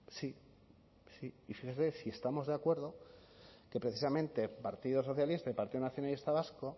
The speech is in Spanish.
sí sí y fíjese si estamos de acuerdo que precisamente partido socialista y partido nacionalista vasco